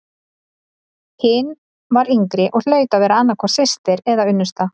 Hin var yngri og hlaut að vera annað hvort systir eða unnusta.